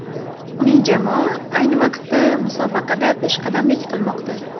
Uning jamoa ayni paytda musobaqada peshqadamlik qilmoqda.